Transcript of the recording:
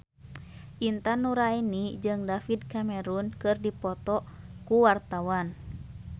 Intan Nuraini jeung David Cameron keur dipoto ku wartawan